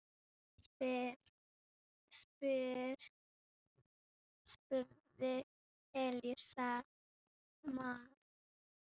spurði Elías Mar.